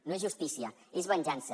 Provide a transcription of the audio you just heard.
no és justícia és venjança